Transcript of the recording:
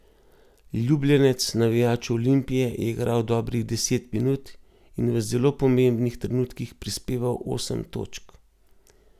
Ljubljenec navijačev Olimpije je igral dobrih deset minut in v zelo pomembnih trenutkih prispeval osem točk.